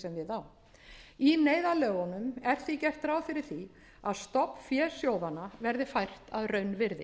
á í neyðarlögunum er því gert ráð fyrir því að stofnfé sjóðanna verði fært að raunvirði